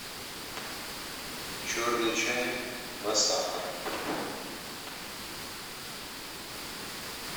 черный чай два сахара